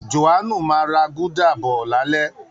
Jòhánù máa ra gúdà bọ̀ lálẹ́